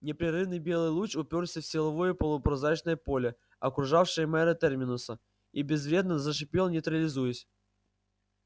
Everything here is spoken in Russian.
непрерывный белый луч упёрся в силовое полупрозрачное поле окружавшее мэра терминуса и безвредно зашипел нейтрализуясь